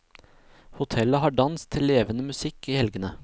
Hotellet har dans til levende musikk i helgene.